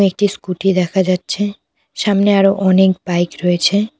ও একটি স্কুটি দেখা যাচ্ছে সামনে আরো অনেক বাইক রয়েছে।